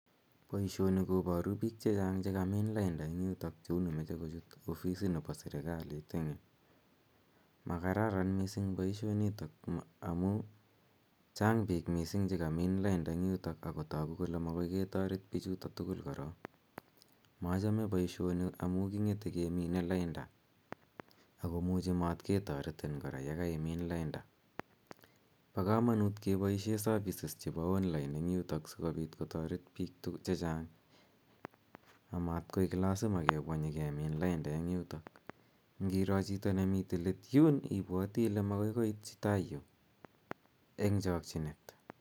Poishoni koparu piik che chang' che kamin lainda eng' yutok ak koparu kole mache kochut ofisit nepa serkalit eng' yu. Ma kararan missing' poishoni amu chang' piik missing' che kamin lainda eng' yutok ako tagu kole makoi ketaret pichutok tugul korok. Machame poishoni amu king'ete kemine lainda ako muchi matke taretin kora ye kaimin lainda. Pa kamanut kepaishe services chepo online asikopit kotaret piik che chang' amatkoek lasima kepwa nyi kemin lainda eng' yutok. Ngiro chito ne mitei let yuun ipwati ile makoi koitchi tai yu eng' chakchinet.